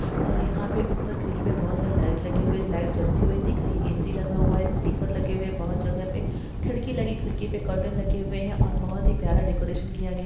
और यहाँ पे ऊपर ग्रिल पे बोहोत साड़ी लाइट लगी हुई है लाइट जलती हुई दिख रही है ऐ-सी लगा हुआ है स्पीकर लगे हुए है बूट जगह पे खिड़की लगी खिड़की पे कर्टेन लगे हुए है और बोहोत ही प्यारा डेकोरेशन किया गया है।